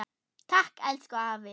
Takk, elsku afi.